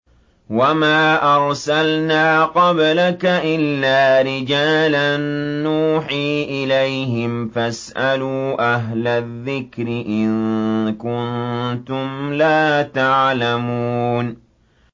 وَمَا أَرْسَلْنَا قَبْلَكَ إِلَّا رِجَالًا نُّوحِي إِلَيْهِمْ ۖ فَاسْأَلُوا أَهْلَ الذِّكْرِ إِن كُنتُمْ لَا تَعْلَمُونَ